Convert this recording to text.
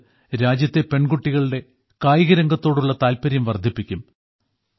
ഇത് രാജ്യത്തെ പെൺകുട്ടികളുടെ കായികരംഗത്തോടുള്ള താല്പര്യം വർദ്ധിപ്പിക്കും